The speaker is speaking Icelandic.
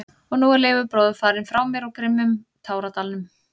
Og nú er Leifur bróðir farinn frá mér úr grimmum táradalnum.